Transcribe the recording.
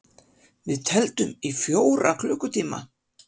Við tefldum í fjóra klukkutíma!